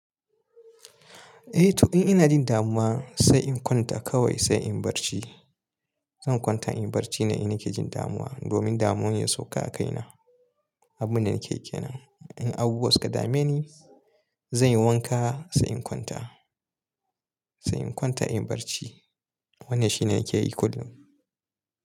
Eh, to in ina jin damuwa sai in kwanta kawai sai in barci. Zan kwanta in barci ne ina ke jin damuwa domin damuwar ya sauka a kaina. Abun da nake ke nan in abu wani wasu ka dame ni, zan yi wanka sai in kwanta, sai in kwanta in barci. Wannan shine yake yi kullum.